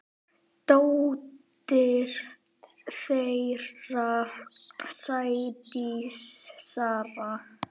Dóttir þeirra: Sædís Saga.